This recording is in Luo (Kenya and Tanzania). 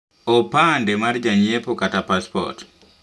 Opande mar janyiepo kata paspot